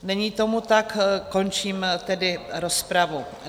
Není tomu tak, končím tedy rozpravu.